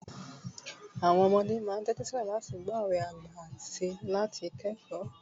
àwọn ọmọdé ma n tẹtisilẹ láti gbọ òwe àgbà ati láti kẹkọọ